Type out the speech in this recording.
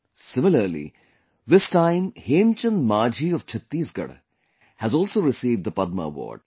Similarly, this time Hemchand Manjhi of Chhattisgarh has also received the Padma Award